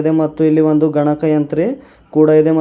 ಇದೆ ಮತ್ತು ಇಲ್ಲಿ ಒಂದು ಗಣಕಯಂತ್ರ ಕೂಡ ಇದೆ.